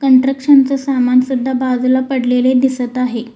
Construction च सामान सुद्धा बाजूला पडलेले दिसत आहे.